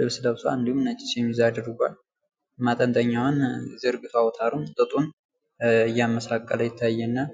ልብስ ለብሷል እንዲሁም ነጨ ሸሚዝ አድርጓል። ማጠንጠኛውን ዘርግቶ አውታሩን ጥጡን እያመሳቀለ ይታየናል።